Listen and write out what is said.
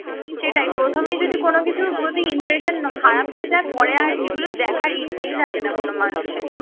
সেটাই প্রথমে যদি কোন কিছু যদি impression খারাপ হয়ে যায় পরে আর সেগুলো দেখার ইচ্ছেই থাকে না কোন মানুষের